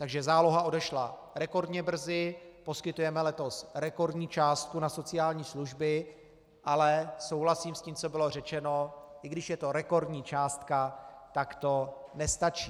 Takže záloha odešla rekordně brzy, poskytujeme letos rekordní částku na sociální služby, ale souhlasím s tím, co bylo řečeno, i když je to rekordní částka, tak to nestačí.